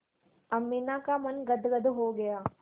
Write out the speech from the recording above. अमीना का मन गदगद हो गया